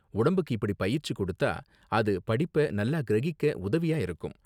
உடம்புக்கு இப்படி பயிற்சி கொடுத்தா, அது படிப்ப நல்லா கிரகிக்க உதவியா இருக்கும்.